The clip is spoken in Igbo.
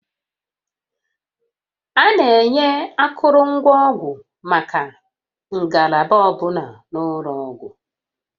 A na-enye akụrụngwa ọgwụ maka ngalaba ọ bụla n'ụlọ ọgwụ